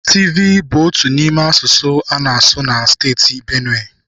Tivi bụ otu n'ime asụsụ a na-asụ na Steeti Benue.